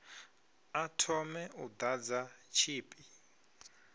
a thome u ḓadza tshipi